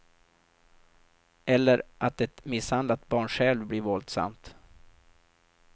Eller att ett misshandlat barn själv blir våldsamt.